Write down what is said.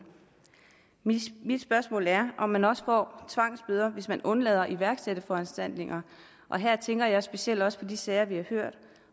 mit spørgsmål er om man også får tvangsbøder hvis man undlader at iværksætte foranstaltninger og her tænker jeg specielt også på de sager vi har hørt